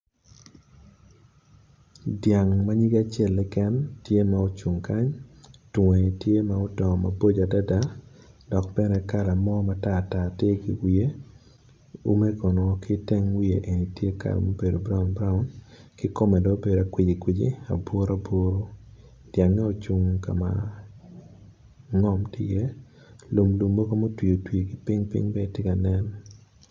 Dyang manyig acel keken tye ma ocung kany twonge tye ma odongo maboco adada dok bene kala nen matartar tye ki wiye ume kono kiteng wiye ni tye ma obedo kala ma obedo brown brown kikome dong obedo kweci kwici aburu aburu dyangge ocung kama ngom tye i ye lumgi mogo ma otwi otwi kiping ping bene tye ka nen.